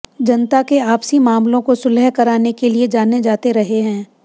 जनता के आपसी मामलों को सुलह कराने के लिए जाने जाते रहे हैं